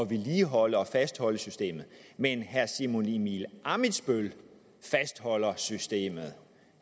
vedligeholde og fastholde systemet men herre simon emil ammitzbøll fastholder systemet